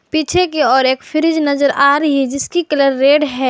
पीछे की ओर एक फ्रिज नजर आ रही है जिसकी कलर रेड है।